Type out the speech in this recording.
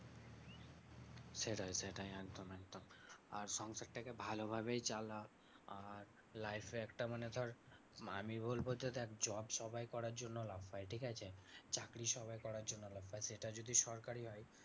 সেটাই সেটাই একদম একদম। আর সংসার টা কে ভালোভাবেই চালা আর life এ একটা মানে ধর আমি বলবো যে দেখ job সবাই করার জন্য লাফায় ঠিকাছে? চাকরি সবাই করার জন্য লাফায়। সেটা যদি সরকারি হয়